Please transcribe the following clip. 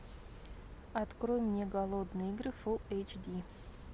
открой мне голодные игры фул эйч ди